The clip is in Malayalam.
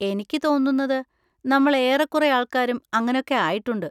എനിക്ക് തോന്നുന്നത് നമ്മൾ ഏറെക്കുറെ ആൾക്കാരും അങ്ങനൊക്കെ ആയിട്ടുണ്ട്.